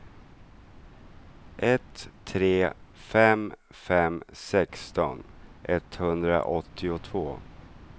ett tre fem fem sexton etthundraåttiotvå